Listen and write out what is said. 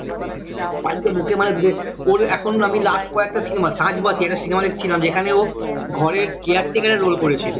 মানে ওর এখন আমি last কয়েকটা cinema সাঁঝবাতি একটা cinema দেখছিলাম যেখানে ও ঘরের caretaker এর role করে ছিল